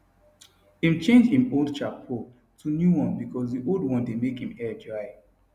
im change im old shampoo to new one bcause di old one dey make im hair dry